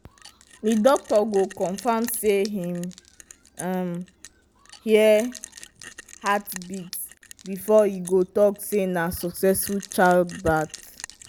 the doctor go confirm say him hear hearbeat before he go talk say na succesful childbirth